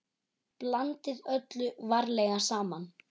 Blandið öllu varlega saman.